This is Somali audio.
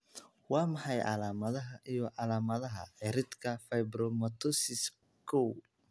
Waa maxay calaamadaha iyo calaamadaha cirridka fibromatosis, kow?